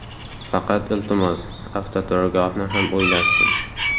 Faqat, iltimos, avtoturargohni ham o‘ylashsin.